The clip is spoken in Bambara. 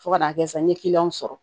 Fo ka n'a kɛ sa n ye kiliyanw sɔrɔ